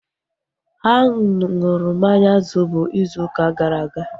Ha nụrụ mmanya zobo izu ụka gara aga